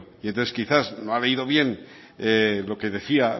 y entonces quizás no ha leído bien lo que decía